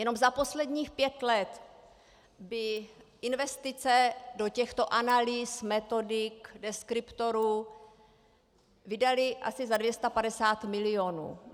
Jenom za posledních pět let by investice do těchto analýz, metodik, deskriptorů, vydaly asi za 250 milionů.